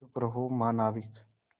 चुप रहो महानाविक